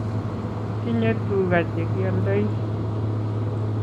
Kitinye tuga chekioldoi